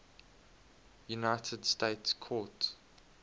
united states court